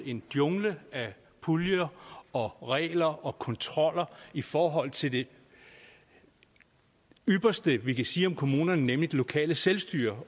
en jungle af puljer og regler og kontroller i forhold til det ypperste vi kan sige om kommunerne nemlig det lokale selvstyre